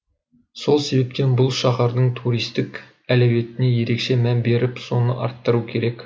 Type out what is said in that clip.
сол себептен бұл шаһардың туристік әлеуетіне ерекше мән беріп соны арттыру керек